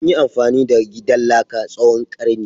Anyi amfani da gidan laka tsawon karni.